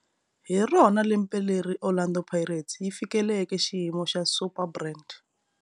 Hi rona lembe leri Orlando Pirates yi fikeleleke xiyimo xa Superbrand.